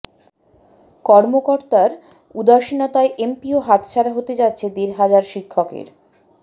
কর্মকর্তার উদাসীনতায় এমপিও হাতছাড়া হতে যাচ্ছে দেড় হাজার শিক্ষকের